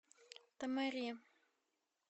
томари